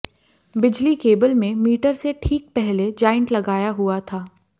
बिजली केबल में मीटर से ठीक पहले जाइंट लगाया हुआ था